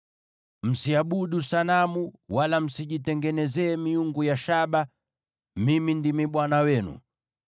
“ ‘Msiabudu sanamu, wala msijitengenezee miungu ya shaba. Mimi ndimi Bwana Mungu wenu.